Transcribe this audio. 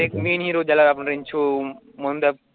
एक main hero ज्याला आपण रॅन्चो म्हण